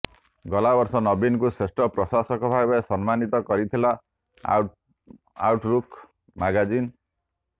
ଗଲାବର୍ଷ ନବୀନଙ୍କୁ ଶ୍ରେଷ୍ଠ ପ୍ରଶାସକ ଭାବେ ସମ୍ମାନିତ କରିଥିଲା ଆଉଟ୍ଲୁକ୍ ମାଗାଜିନ୍